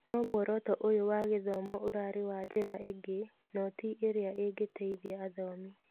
No mũoroto ũyũ wa gĩthomo ũrarĩ wa njĩra ingĩ noti ĩrĩa ingĩteithia athomi